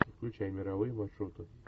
включай мировые маршруты